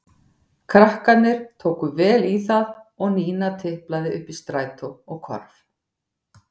Krakkarnir tóku vel í það og Nína tiplaði upp í strætó og hvarf.